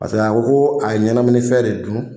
Paseke a ko ko a ye ɲɛnaminima fɛn de dun